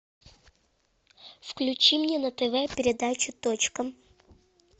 включи мне на тв передачу точка